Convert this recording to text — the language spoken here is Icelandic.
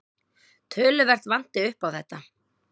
Töluvert vanti upp á þetta.